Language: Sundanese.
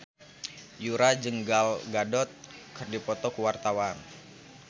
Yura jeung Gal Gadot keur dipoto ku wartawan